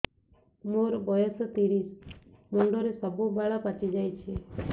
ମୋର ବୟସ ତିରିଶ ମୁଣ୍ଡରେ ସବୁ ବାଳ ପାଚିଯାଇଛି